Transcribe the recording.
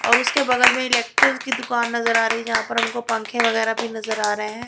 और उसके बगल में इलेक्ट्रिक की दुकान नजर आ रही है यहां पर हमको पंखे वगैरा भी नजर आ रहे हैं।